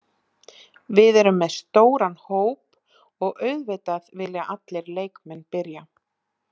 Við erum með stóran hóp og auðvitað vilja allir leikmenn byrja.